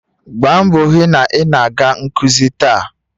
Gbaa mbọ hụ na ị na-aga nkuzi taa!